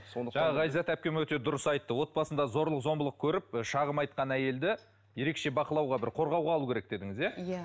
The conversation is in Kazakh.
жаңа айзат әпкем дұрыс айтты отбасында зорлық зомбылық көріп шағым айтқан әйелді ерекше бақылауға бір қорғауға алу керек дедіңіз иә иә